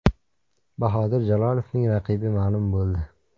Bahodir Jalolovning raqibi ma’lum bo‘ldi.